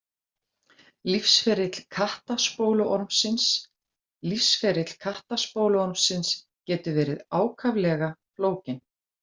Lífsferill kattaspóluormsins Lífsferill kattaspóluormsins getur verið ákaflega flókinn.